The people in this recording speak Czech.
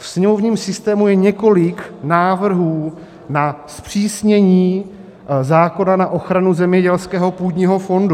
V sněmovním systému je několik návrhů na zpřísnění zákona na ochranu zemědělského půdního fondu.